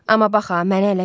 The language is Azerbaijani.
Amma bax ha, məni ələ vermə.